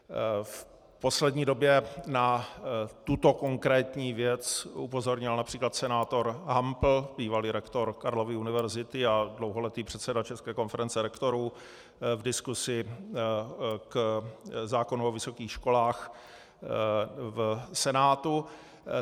V poslední době na tuto konkrétní věc upozornil například senátor Hampl, bývalý rektor Karlovy univerzity a dlouholetý předseda České konference rektorů, v diskusi k zákonu o vysokých školách v Senátu.